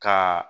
Ka